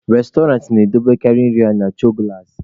Restọrantị na-edobekarị nri ha na choo gụlasị.